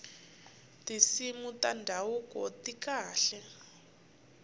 tinsimu ta ndhavuko ti kahle